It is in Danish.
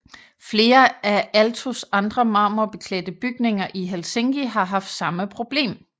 Flere af Aaltos andre marmorbeklædte bygninger i Helsinki har haft samme problem